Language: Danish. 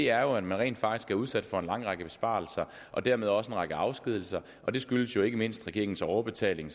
er at man rent faktisk er udsat for en lang række besparelser og dermed også en række afskedigelser og det skyldes ikke mindst regeringens overbetaling